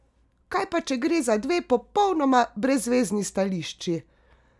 Kaj pa če gre za dve popolnoma brezvezni stališči?